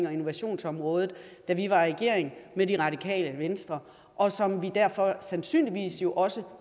og innovationsområdet da vi var i regering med det radikale venstre og som vi derfor sandsynligvis jo også